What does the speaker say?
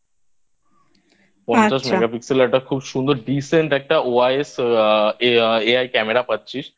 পঞ্চাশ Megapixel একটা খুব সুন্দর Decent একটা OIS AI Camera পাচ্ছি